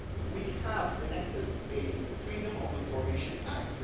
We have enacted a Freedom of Information